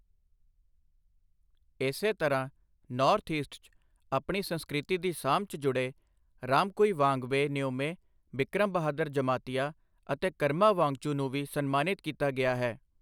ਇਸੇ ਤਰ੍ਹਾਂ North East 'ਚ ਆਪਣੀ ਸੰਸਕ੍ਰਿਤੀ ਦੀ ਸਾਂਭ 'ਚ ਜੁੜੇ ਰਾਮਕੁਈਵਾਂਗਬੇ ਨਿਓਮੇ, ਬਿਕਰਮ ਬਹਾਦਰ ਜਮਾਤੀਆ ਅਤੇ ਕਰਮਾ ਵਾਂਗਚੂ ਨੂੰ ਵੀ ਸਨਮਾਨਿਤ ਕੀਤਾ ਗਿਆ ਹੈ।